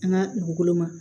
An ka dugukolo ma